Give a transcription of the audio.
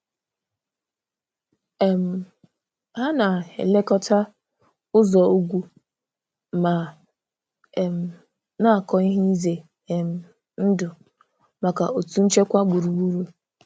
um Hà na-elekọta ụzọ̀ ugwu ma um na-akọ ihe izè um ndụ̀ maka òtù nchekwà gburugburù.